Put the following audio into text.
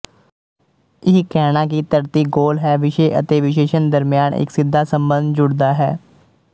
ਇਹ ਕਹਿਣਾ ਕਿ ਧਰਤੀ ਗੋਲ ਹੈ ਵਿਸ਼ੇ ਅਤੇ ਵਿਸ਼ੇਸ਼ਣ ਦਰਮਿਆਨ ਇੱਕ ਸਿੱਧਾ ਸਬੰਧ ਜੁੜਦਾ ਹੈ